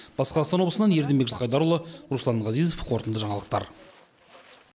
батыс қазақстан облысынан ердінбек жылқайдарұлы руслан ғазизов қорытынды жаңалықтар